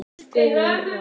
Guðrún Rós.